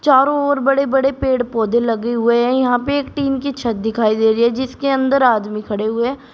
चारों ओर बड़े बड़े पेड़ पौधे लगे हुए हैं यहां पे एक टीन की छत दिखाई दे रही है जिसके अंदर आदमी खड़े हुए--